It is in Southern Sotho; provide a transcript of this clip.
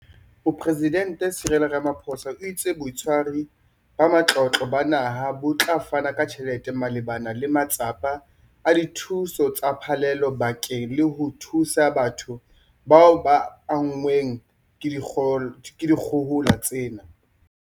Mopresidente Cyril Ramaphosa o itse Botshwari ba Matlotlo ba Naha bo tla fana ka tjhelete malebana le matsapa a dithuso tsa phallelo bakeng la ho thusa batho bao ba anngweng ke dikgohola tsena.